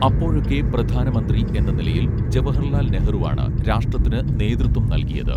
അപ്പോഴൊക്കെ പ്രധാന മന്ത്രി എന്ന നിലയിൽ ജവഹർലാൽ നെഹ്റുവാണ് രാഷ്ട്രത്തിന് നേതൃത്വം നൽകിയത്